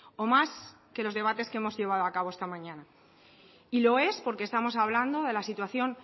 o más que los debates que hemos llevado a cabo esta mañana y lo es porque estamos hablando de la situación